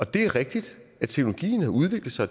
det er rigtigt at teknologien har udviklet sig